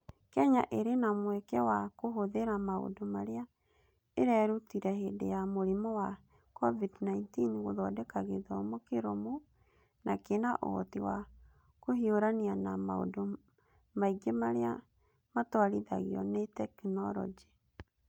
Kenya ĩrĩ na mweke wa kũhũthĩra maũndũ marĩa ĩrerutire hĩndĩ ya mũrimũ wa COVID-19 gũthondeka gĩthomo kĩrũmu na kĩna ũhoti wa kũhiũrania na maũndũ maingĩ marĩa matwarithagio nĩ tekinoronjĩ.